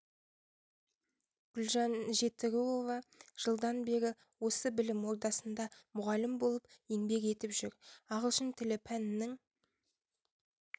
гүлжан жетіруова жылдан бері осы білім ордасында мұғалім болып еңбек етіп жүр ағылшын тілі пәнінің